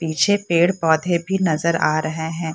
पीछे पेड़-पौधे भी नजर आ रहे है।